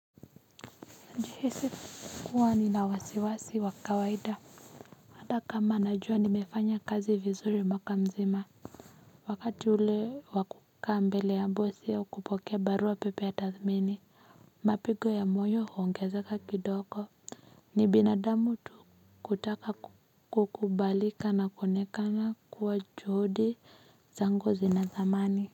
Nilihisi kuwa ni nawasiwasi wakawaida hata kama najua nimefanya kazi vizuri mwakamzima wakati ule wakukaa mbele ya mbosi au kupokea barua pepe ya tathmini mapigo ya moyo huongezaka kidogo ni binadamu tu kutaka kukubalika na kuonekana kuwa juhudi zangu zina thamani.